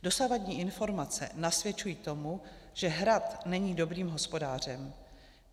Dosavadní informace nasvědčují tomu, že Hrad není dobrým hospodářem.